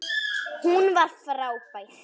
Hún var frábær.